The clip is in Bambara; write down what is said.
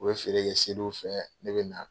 U bɛ feere kɛ seliw fɛ ne bɛ na.